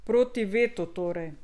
Proti vetu torej.